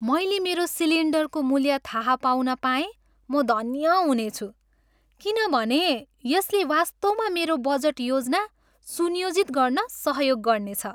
मैले मेरो सिलिन्डरको मूल्य थाहा पाउन पाए म धन्य हुनेछु किनभने यसले वास्तवमा मेरो बजट योजना सुनियोजित गर्न सहयोग गर्नेछ।